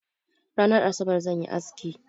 Ranan Asabar zan yi aski.